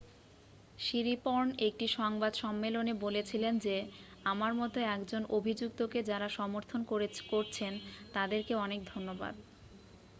"শিরিপর্ণ একটি সংবাদ সম্মেলনে বলেছিলেন যে "আমার মতো একজন অভিযুক্তকে যারা সমর্থন করেছন তাদেরকে অনেক ধন্যবাদ""।